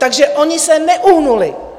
Takže oni se neuhnuli.